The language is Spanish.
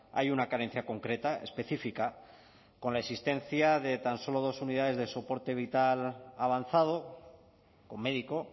hay una carencia concreta específica con la existencia de tan solo dos unidades de soporte vital avanzado con médico